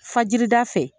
Fajirida fɛ